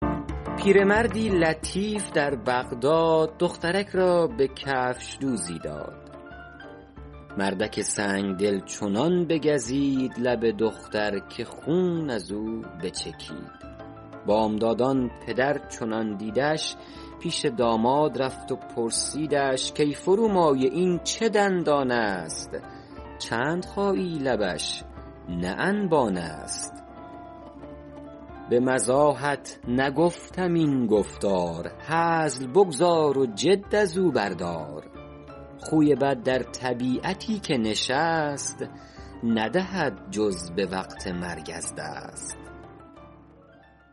پیرمردی لطیف در بغداد دخترک را به کفشدوزی داد مردک سنگدل چنان بگزید لب دختر که خون از او بچکید بامدادان پدر چنان دیدش پیش داماد رفت و پرسیدش کای فرومایه این چه دندان است چند خایی لبش نه انبان است به مزاحت نگفتم این گفتار هزل بگذار و جد از او بردار خوی بد در طبیعتی که نشست ندهد جز به وقت مرگ از دست